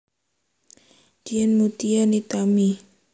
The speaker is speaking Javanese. Dian Meutia Nitami